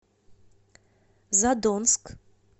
задонск